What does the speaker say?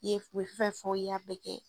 I ye u ye fɛn fɛn fɔ i ya bɛɛ kɛ.